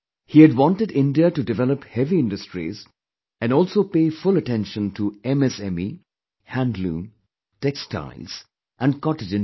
He had wanted India to develop heavy industries and also pay full attention to MSME, handloom, textiles and cottage industry